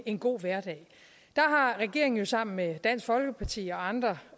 en god hverdag der har regeringen jo sammen med dansk folkeparti og andre